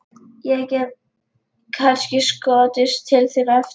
Ég get kannski skotist til þín á eftir.